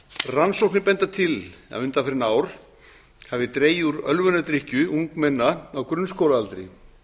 rannsóknir benda til að undanfarin ár hafi dregið úr ölvunardrykkju ungmenna á grunnskólaaldri